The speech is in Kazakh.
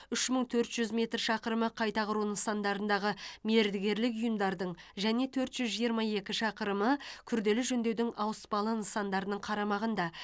үш мың төрт жүз метр шақырымы қайта құру нысандарындағы мердігерлік ұйымдардың және төрт жүз жиырма екі шақырымы күрделі жөндеудің ауыспалы нысандарының қарамағында